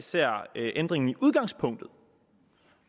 ser ændringen i udgangspunktet